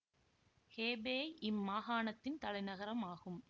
Hebei இம் மாகாணத்தின் தலைநகரம் ஆகும்